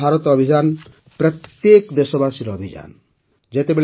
ଆତ୍ମନିର୍ଭର ଭାରତ ଅଭିଯାନ ପ୍ରତ୍ୟେକ ଦେଶବାସୀର ଅଭିଯାନ